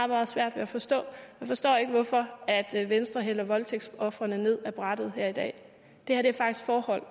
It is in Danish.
meget svært ved at forstå jeg forstår ikke hvorfor venstre hælder voldtægtsofrene ned af brættet her i dag det her er faktisk forhold